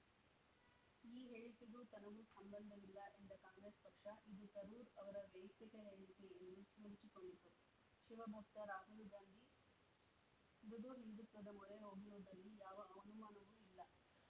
ಈ ಹೇಳಿಕೆಗೂ ತನಗೂ ಸಂಬಂಧವಿಲ್ಲ ಎಂದ ಕಾಂಗ್ರೆಸ್‌ ಪಕ್ಷ ಇದು ತರೂರ್‌ ಅವರ ವೈಯಕ್ತಿಕ ಹೇಳಿಕೆ ಎಂದು ನುಣುಚಿಕೊಂಡಿತು ಶಿವಭಕ್ತ ರಾಹುಲ್‌ ಗಾಂಧಿ ಮೃದು ಹಿಂದುತ್ವದ ಮೊರೆ ಹೋಗಿರುವುದರಲ್ಲಿ ಯಾವ ಅನುಮಾನವೂ ಇಲ್ಲ